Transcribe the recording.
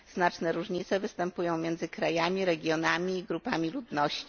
Znaczne różnice występują między krajami, regionami i grupami ludności.